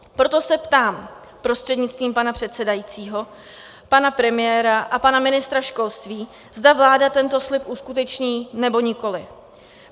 Proto se ptám prostřednictvím pana předsedajícího pana premiéra a pana ministra školství, zda vláda tento slib uskuteční, nebo nikoliv.